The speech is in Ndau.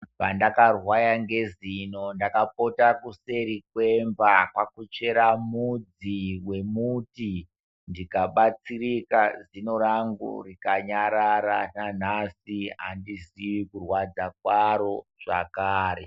Pandakarwaya ngezino, ndakapota kuseri kwemba kwakuchera mudzi wemuti ndikabatsirika zino rangu rikanyarara nanhasi handiziye kurwadza kwaro zvakare.